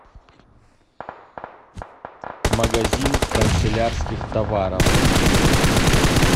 магазин канцелярских товаров